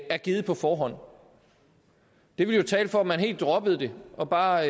er givet på forhånd det ville jo tale for at man helt droppede det og bare